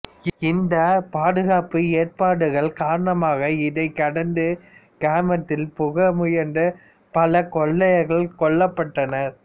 இந்த பாதுகாப்பு ஏற்பாடுகள் காரணமாக இதைக் கடந்து கிராமத்தில் புக முயன்ற பல கொள்ளையர்கள் கொல்லப்பட்டனர்